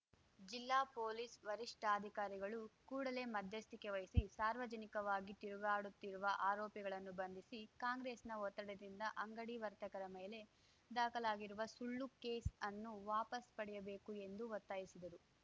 ಜಿಲ್ಲಾ ಪೊಲೀಸ್‌ ವರಿಷ್ಠಾಧಿಕಾರಿಗಳು ಕೂಡಲೇ ಮಧ್ಯಸ್ಥಿಕೆ ವಹಿಸಿ ಸಾರ್ವಜನಿಕವಾಗಿ ತಿರುಗಾಡುತ್ತಿರುವ ಆರೋಪಿಗಳನ್ನು ಬಂಧಿಸಿ ಕಾಂಗ್ರೆಸ್‌ನ ಒತ್ತಡದಿಂದ ಅಂಗಡಿ ವರ್ತಕರ ಮೇಲೆ ದಾಖಲಾಗಿರುವ ಸುಳ್ಳು ಕೇಸ್‌ ಅನ್ನು ವಾಪಾಸ್‌ ಪಡೆಯಬೇಕು ಎಂದು ಒತ್ತಾಯಿಸಿದರು